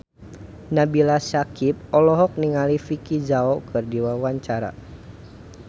Nabila Syakieb olohok ningali Vicki Zao keur diwawancara